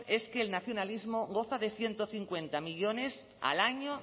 es que el nacionalismo goza de ciento cincuenta millónes al año